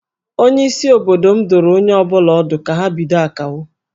Onyeisi obodo m dụrụ onye ọ bụla ọdụ ka ha bido Akawo